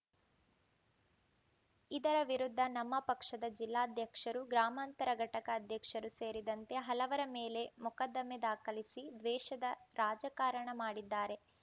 ಇದರ ವಿರುದ್ಧ ನಮ್ಮ ಪಕ್ಷದ ಜಿಲ್ಲಾಧ್ಯಕ್ಷರು ಗ್ರಾಮಾಂತರ ಘಟಕ ಅಧ್ಯಕ್ಷರು ಸೇರಿದಂತೆ ಹಲವರ ಮೇಲೆ ಮೊಕದ್ದಮೆ ದಾಖಲಿಸಿ ದ್ವೇಷದ ರಾಜಕಾರಣ ಮಾಡಿದ್ದಾರೆ